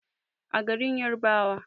a garin yarabawa